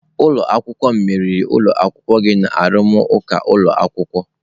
Ụlọ akwụkwọ m meriri ụlọ akwụkwọ gị na arụmụka ụlọ akwụkwọ.